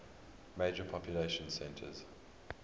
major population centers